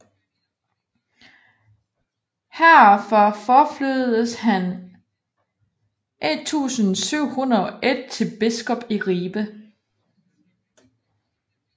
Her fra forflyttedes han 1701 til biskop i Ribe